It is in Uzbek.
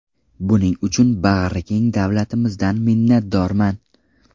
Buning uchun bag‘rikeng davlatimizdan minnatdorman”.